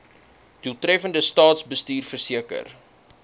doeltreffende staatsbestuur verseker